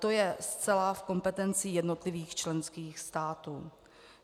To je zcela v kompetenci jednotlivých členských států.